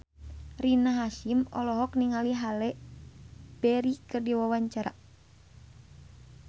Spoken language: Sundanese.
Rina Hasyim olohok ningali Halle Berry keur diwawancara